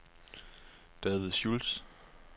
David Schulz